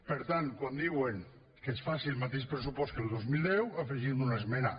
per tant quan diuen que es faci el mateix pressupost que el dos mil deu hi afegim una esmena